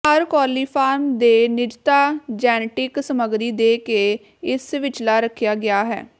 ਹਰ coliform ਦੇ ਨਿਜਤਾ genetic ਸਮੱਗਰੀ ਦੇ ਕੇ ਇਸ ਵਿਚਲਾ ਰੱਖਿਆ ਗਿਆ ਹੈ